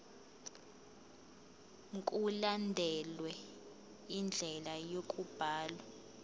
mkulandelwe indlela yokubhalwa